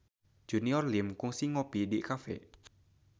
Junior Liem kungsi ngopi di cafe